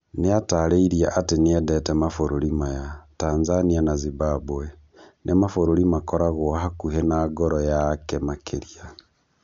Nĩatarĩirie atĩ nĩendete mabũrũri maya, Tanzania na Zimbabwe, nĩ mabũrũri makoragwa hakuhĩ na ngoro yake makĩria